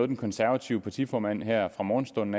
den konservative partiformand her fra morgenstunden